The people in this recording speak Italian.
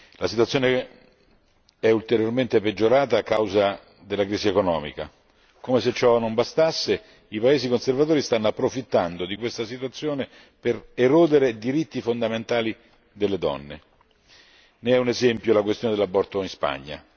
La situazione è ulteriormente peggiorata a causa della crisi economica. Come se ciò non bastasse, i paesi conservatori stanno approfittando di questa situazione per erodere diritti fondamentali delle donne, ne è un esempio la questione dell'aborto in Spagna.